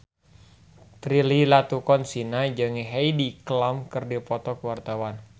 Prilly Latuconsina jeung Heidi Klum keur dipoto ku wartawan